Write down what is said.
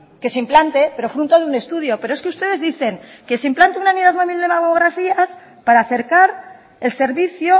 que se implante pero fruto de un estudio pero es que ustedes dicen que se implante una unidad móvil de mamografías para acercar el servicio